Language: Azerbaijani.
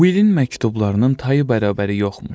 Willin məktublarının tayı bərabəri yoxmuş.